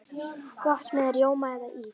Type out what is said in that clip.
Gott með rjóma eða ís.